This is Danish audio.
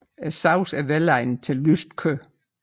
Sovsen er velegnet til lyst kød